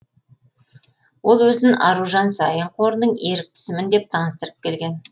ол өзін аружан саин қорының еріктісімін деп таныстырып келген